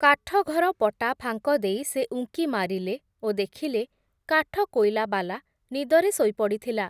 କାଠଘର ପଟା ଫାଙ୍କ ଦେଇ, ସେ ଉଙ୍କିମାରିଲେ, ଓ ଦେଖିଲେ, କାଠକୋଇଲାବାଲା, ନିଦରେ ଶୋଇପଡ଼ିଥିଲା ।